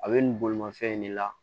A bɛ nin bolimafɛn in de la